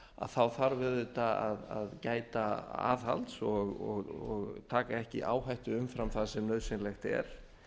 þá þarf auðvitað að gæta aðhalds og taka ekki áhættu umfram það sem nauðsynlegt er